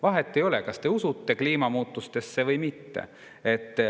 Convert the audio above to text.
Vahet ei ole, kas te usute kliimamuutustesse või mitte.